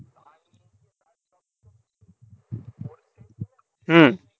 হুম